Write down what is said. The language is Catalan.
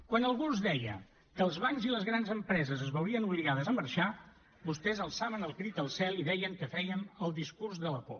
quan algú els deia que els bancs i les grans empreses es veurien obligades a marxar vostès alçaven el crit al cel i deien que fèiem el discurs de la por